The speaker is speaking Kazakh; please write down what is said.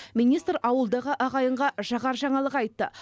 министр ауылдағы ағайынға жағар жаңалық айтты